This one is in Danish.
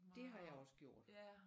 Det har jeg også gjort!